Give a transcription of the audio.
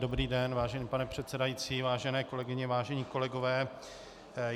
Dobrý den, vážený pane předsedající, vážené kolegyně, vážení kolegové.